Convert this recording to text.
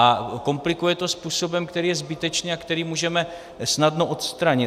A komplikuje to způsobem, který je zbytečný a který můžeme snadno odstranit.